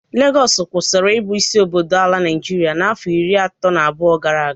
Legọs kwụsịrị ị bụ isi obodo ala Naịjịrịa afọ iri atọ na abụọ gara aga.